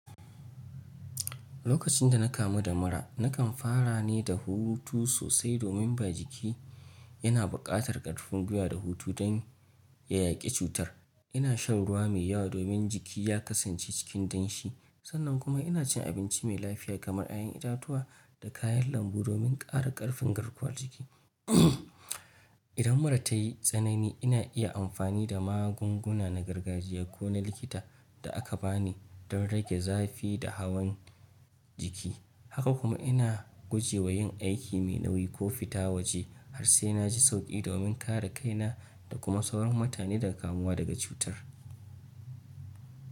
Lokacinda na kamu da mura, nakan fara ne da hutu sosai domin ba jiki yana buƙatar ƙarfin gwuiwa da hutu don ya yaƙi cutar. Ina shan ruwa mai yawa domin jiki ya kasance cikin danshi sannan kuma inacin abinci mai lafiya kamar ƴaƴan itatuwa da kayan lambu domin ƙara ƙarfin garkuwar jiki. Idan mura tayi tsanani, ina iya amfani da magunguna na gargajiya ko na likita da aka bani don rage zafi da hawan jiki. Haka kuma ina gujewa yin aiki mai nauyi ko fita waje har sai naji sauƙi domin kare kaina da kuma sauran mutane daga kamuwa daga cutar.